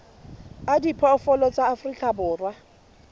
a diphoofolo tsa afrika borwa